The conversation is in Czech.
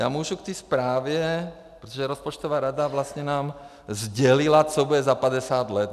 Já můžu k té zprávě, protože rozpočtová rada vlastně nám sdělila, co bude za 50 let.